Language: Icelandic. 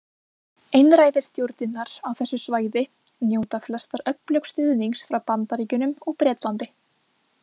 Einræðisstjórnirnar á þessu svæði njóta flestar öflugs stuðnings frá Bandaríkjunum og Bretlandi.